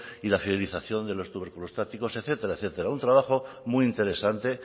y de la fidelización de los tuberculostáticos etcétera etcétera un trabajo muy interesante